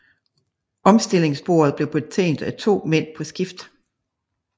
Omstillingsbordet blev betjent af to mænd på skift